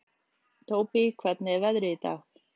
Tóbý, hvernig er veðrið í dag?